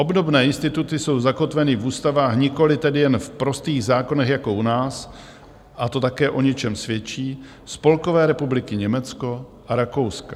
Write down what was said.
Obdobné instituty jsou zakotveny v ústavách - nikoliv tedy jen v prostých zákonech jako u nás, a to také o ničem svědčí - Spolkové republiky Německo a Rakouska.